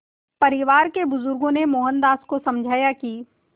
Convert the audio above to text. परिवार के बुज़ुर्गों ने मोहनदास को समझाया कि